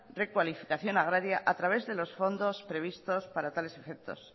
recualificación agraria a través de los fondos previstos para tales efectos